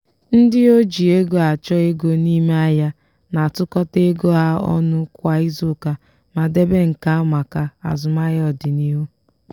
ndị oji ego achọ ego n'ime ahịa na-atụkọta ego ha ọnụ kwa izuuka ma debe nke a maka azụmahịa ọdịnihu.